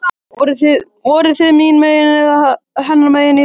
Voruð þið mín megin eða hennar megin í rúminu?